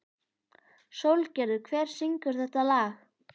Sólgerður, hver syngur þetta lag?